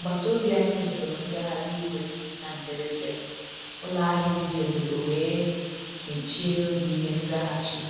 Agbata obi anyị huru ngagharị iwe na mberede, ụlọ ahịa ndi obodo wee mechie n'oge n'ime nzaghachi.